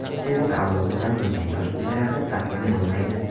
Sezar avlodidan bo‘lgan yosh imperator taslim bo‘lmaydi.